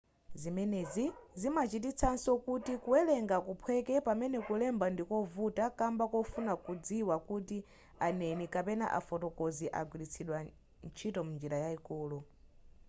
zimenezi zimachititsanso kuti kuwerenga kuphweke pamene kulemba ndikovuta kamba kofuna kudziwa kuti aneni kapena afotokozi agwiritsidwa ntchito m'njira yayikulu